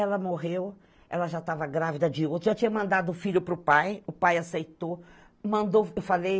Ela morreu, ela já estava grávida de outro, já tinha mandado o filho para o pai, o pai aceitou, mandou, eu falei,